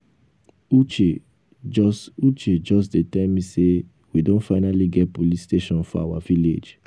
uche just uche just dey tell me say we don finally get police station for our village